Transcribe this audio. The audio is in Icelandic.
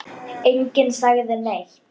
Enginn sagði neitt.